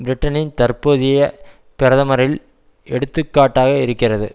பிரிட்டனின் தற்போதைய பிரதமரில் எடுத்துக்காட்டாக இருக்கிறது